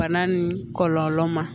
Bana ni kɔlɔlɔ ma